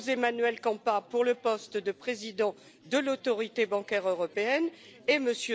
José Manuel Campa pour le poste de président de l'Autorité bancaire européenne et M.